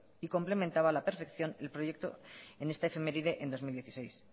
y complementaba a la perfección el proyecto en esta efeméride en dos mil dieciséis